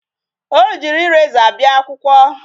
O jighị eraser bịa akwụkwọ.